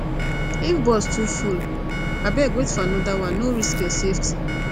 if bus too full abeg wait for another one no risk your safety